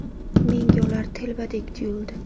Menga ular telbadek tuyuldi.